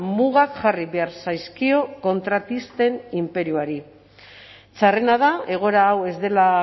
mugak jarri behar zaizkio kontratisten inperioari txarrena da egoera hau ez dela